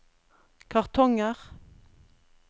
kartonger